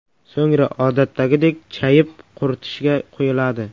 So‘ngra odatdagidek chayib, quritishga qo‘yiladi.